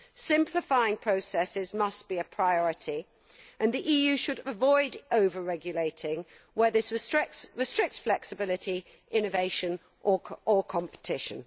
Simplifying processes must be a priority and the EU should avoid over regulating where this restricts flexibility, innovation or competition.